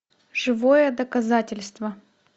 живое доказательство